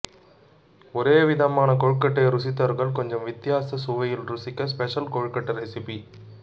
ஒரே விதமான கொழுக்கட்டையை ருசித்தவர்கள் கொஞ்சம் வித்தியாச சுவையில் ருசிக்க ஸ்பெஷல் கொழுக்கட்டை ரெசிப்பி